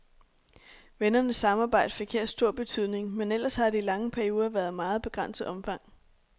Vennernes samarbejde fik her stor betydning, men ellers har det i lange perioder været af meget begrænset omfang.